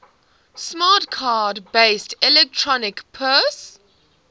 smart card based electronic purse